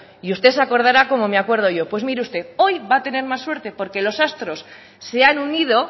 y usted se acordará como me acuerdo yo pues mire usted hoy va a tener más suerte porque los astros se han unido